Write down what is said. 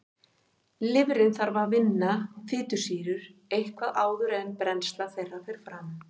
Lifrin þarf að vinna fitusýrur eitthvað áður en brennsla þeirra fer fram.